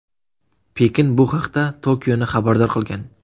Pekin bu haqda Tokioni xabardor qilgan.